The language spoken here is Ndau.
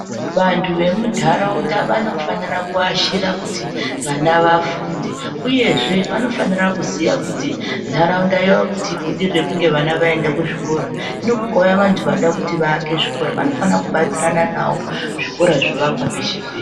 Vantu vemunharaunda vanofanira kuashira kuti vana vafunde uyezve vanofanira kuziya kuti nharaunda yavo kuti ibudirire kunge vana vaenda kuzvikora. Hino kukauya vantu vanoda kuaka zvikora vanofanira kubatsirana nawo zvikora zviakwe peshe peshe.